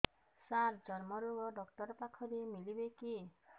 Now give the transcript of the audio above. ସାର ଚର୍ମରୋଗ ଡକ୍ଟର ପାଖରେ ମିଳିବେ କି